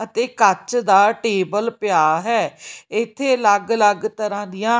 ਅਤੇ ਕੱਚ ਦਾ ਟੇਬਲ ਪਿਆ ਹੈ ਇੱਥੇ ਅਲੱਗ ਅਲੱਗ ਤਰ੍ਹਾਂ ਦੀਆਂ--